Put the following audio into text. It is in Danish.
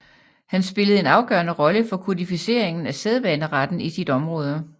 Han spillede en afgørende rolle for kodificeringen af sædvaneretten i sit område